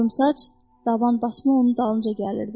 Qorumsaç, Dabanbasma onun dalınca gəlirdi.